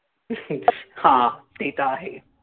हां. ते तर आहेच.